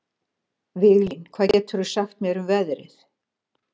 Viglín, hvað geturðu sagt mér um veðrið?